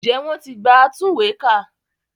Ǹjẹ́ wọn ti gba atúnwèékà?